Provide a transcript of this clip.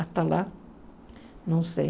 Até lá, não sei.